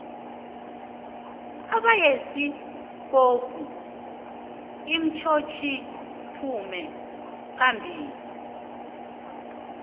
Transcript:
ibayisikopu itsotsliphume phambili